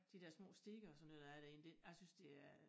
De dér små stier og sådan noget der er derinde det jeg synes det er